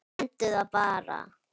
Nefndu það bara.